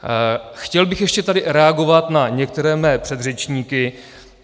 Chtěl bych ještě tady reagovat na některé své předřečníky.